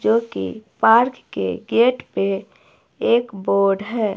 जो कि पार्क के गेट पे एक बोर्ड है।